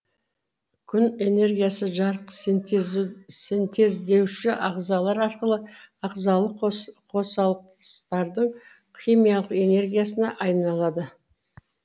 күн энергиясы жарық синтездеуші ағзалар арқылы ағзалық қосылыстардың химиялық энергиясына айналады